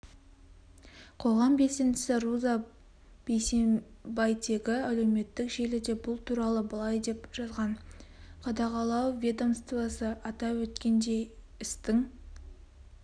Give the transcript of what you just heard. қоғам белсендісі руза бейсенбайтегі әлеуметтік желіде бұл туралы былай деп жазған қадағалау ведомствосы атап өткендей істің